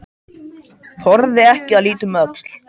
Þorði ekki að líta um öxl.